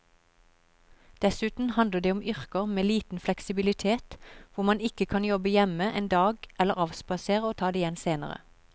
Dessuten handler det om yrker med liten fleksibilitet hvor man ikke kan jobbe hjemme en dag eller avspasere og ta det igjen senere.